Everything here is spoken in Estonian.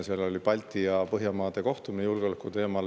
Seal oli Balti- ja Põhjamaade kohtumine julgeoleku teemal.